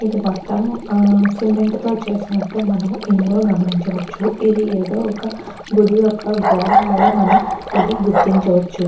ఇది మొత్తం సిమెంట్ తో చేసినట్టు మనం ఇందులో గమనించవచ్చుఇది ఏదో ఒక్క గుడి యొక్క గోడలాగా మనం ఇది గుర్తించవచ్చు.